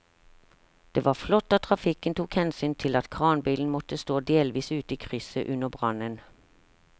Det var flott at trafikken tok hensyn til at kranbilen måtte stå delvis ute i krysset under brannen.